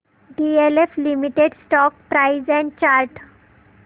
DLF limited stock price and chart